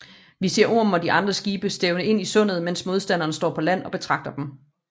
Vi ser Ormen og de andre skibe stævne ind i sundet mens modstanderne står på land og betragter dem